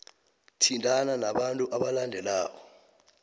thintana nabantu abalandelako